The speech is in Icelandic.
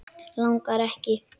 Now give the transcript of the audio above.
Langar, langar ekki.